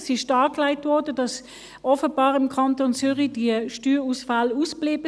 Es wurde dargelegt, dass im Kanton Zürich die Steuerausfälle offenbar ausblieben.